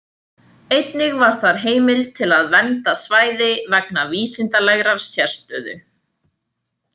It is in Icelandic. Einnig var þar heimild til að vernda svæði vegna vísindalegrar sérstöðu.